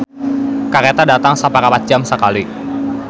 "Kareta datang saparapat jam sakali"